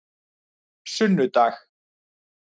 sunnudag